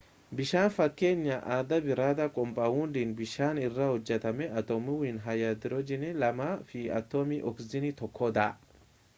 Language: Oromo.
bishaan fakkeenya adda biraadha kompaawundiin bishaan irraa hojjatame atomiiwwan haayidiroojiinii lamaa fi atomii ooksijiinii tokkodha